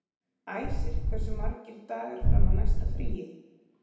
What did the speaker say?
Æsir, hversu margir dagar fram að næsta fríi?